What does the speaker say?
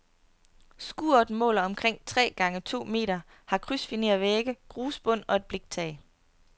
Skuret måler omkring tre gange to meter, har krydsfinervægge, grusbund og et bliktag.